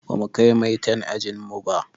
Bamu kai maitan a ajin mu ba.